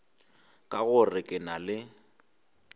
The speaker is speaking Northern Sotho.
ka gore ke na le